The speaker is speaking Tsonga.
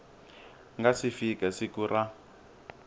nga si fika siku ra